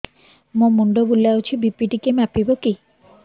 ମୋ ମୁଣ୍ଡ ବୁଲାଉଛି ବି.ପି ଟିକିଏ ମାପିବ କି